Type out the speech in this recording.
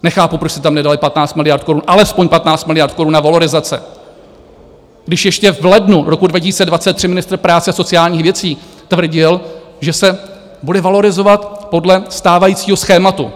Nechápu, proč jste tam nedali 15 miliard korun, alespoň 15 miliard korun na valorizace, když ještě v lednu roku 2023 ministr práce a sociálních věcí tvrdil, že se bude valorizovat podle stávajícího schématu.